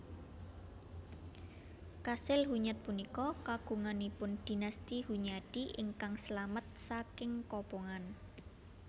Kasil Hunyad punika kagunganipun Dinasti Hunyadi ingkang slamet saking kobongan